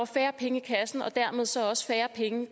færre penge i kassen og dermed så også færre penge